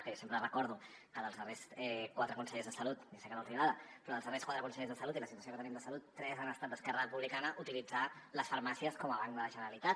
que jo sempre recordo que dels darrers quatre consellers de salut i sé que no els agrada però els darrers quatre consellers de salut i la situació que tenim de salut tres han estat d’esquerra republicana utilitzar les farmàcies com a banc de la generalitat